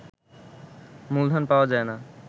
মূলধন পাওয়া যায় না